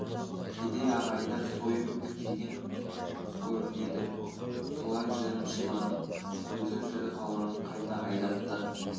кедей ағайындар сойып жеген көрінеді солай жырымшыланып көзі тірі қалғанын қайта айдатты